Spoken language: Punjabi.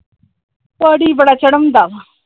ਪਾਣੀ ਬੜਾ ਚੜ੍ਹਾਉਂਦਾ ਆ ।